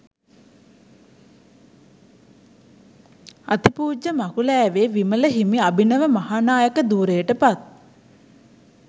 අතිපූජ්‍ය මකුලෑවේ විමල හිමි අභිනව මහානායක ධුරයට පත්